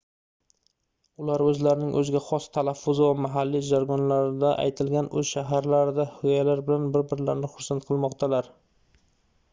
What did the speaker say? ular oʻzlarining oʻziga xos talaffuzi va mahalliy jargonlarida aytilgan oʻz shaharlaridagi hikoyalar bilan bir-birlarini xursand qilmoqdalar